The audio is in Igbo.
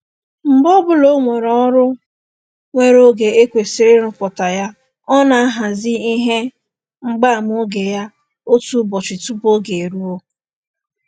Mgbe ọbụla o nwere ọrụ nwere oge e kwesịrị ịrụpụta ya, ọ na-ahazi ihe mgbaama oge ya otu ụbọchị tụpụ oge eruo